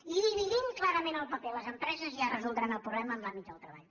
i dividim clarament el paper les empreses ja resoldran el problema en l’àmbit del treball